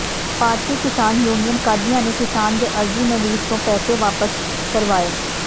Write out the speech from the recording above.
ਭਾਰਤੀ Kisan union Qadian ਨੇ ਕਿਸਾਨ ਦੇ ਅਰਜ਼ੀ ਨਵੀਸ ਤੋਂ ਪੈਸੇ ਵਾਪਸ ਕਰਵਾਏ